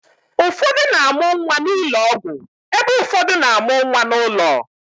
Ụfọdụ na-amụ nwa n'ụlọ ọgwụ ebe ụfọdụ na-amụ nwa n'ụlọ